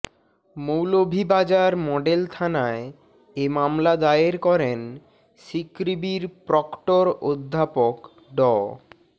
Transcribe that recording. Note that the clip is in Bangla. মৌলভীবাজার মডেল থানায় এ মামলা দায়ের করেন সিকৃবির প্রক্টর অধ্যাপক ড